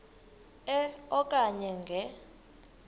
e okanye nge